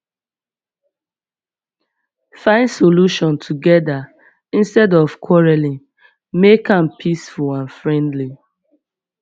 find solution together instead of quarreling make am peaceful and friendly